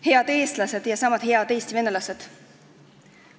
Head eestlased ja niisama head Eesti venelased!